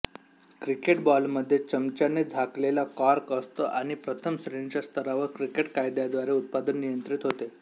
cricket बॉलमध्ये चमच्याने झाकलेला कॉर्क असतो आणि प्रथम श्रेणीच्या स्तरावर क्रिकेट कायद्याद्वारे उत्पादन नियंत्रित होते